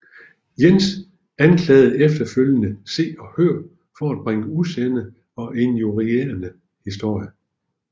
Jens anklagede efterfølgende Se og Hør for bringe usande og injurierende historier